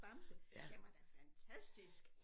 Bamse den var da fantastisk